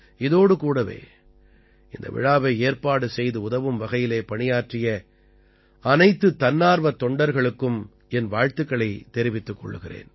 இதோடு கூடவே இந்த விழாவை ஏற்பாடு செய்து உதவும் வகையிலே பணியாற்றிய அனைத்துத் தன்னார்வத் தொண்டர்களுக்கும் என் வாழ்த்துக்களைத் தெரிவித்துக் கொள்கிறேன்